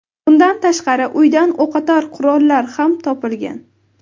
Bundan tashqari, uydan o‘qotar qurollar ham topilgan.